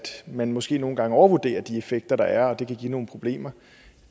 man måske nogle gange overvurderer de effekter der er og at det kan give nogle problemer